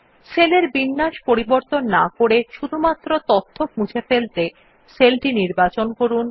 সেলের বিন্যাস পরিবর্তন না করে শুধুমাত্র তথ্য মুছে ফেলতে সেল টি নির্বাচন করুন